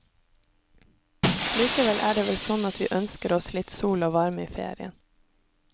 Likevel er det vel sånn at vi ønsker oss litt sol og varme i ferien.